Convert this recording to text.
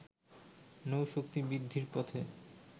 নৌশক্তি বৃদ্ধির পথে